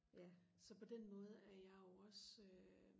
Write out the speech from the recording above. så på den måde er jeg jo også øh